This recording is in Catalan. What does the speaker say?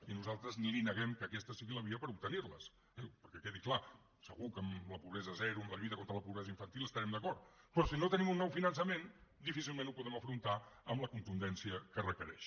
i nosaltres li neguem que aquesta sigui la via per obtenirles perquè quedi clar segur que amb la pobresa zero amb la lluita contra la pobresa infantil hi estarem d’acord però si no tenim un nou finançament difícilment ho podrem afrontar amb la contundència que requereix